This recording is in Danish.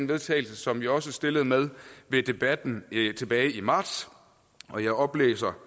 vedtagelse som vi også stillede med ved debatten tilbage i marts og jeg oplæser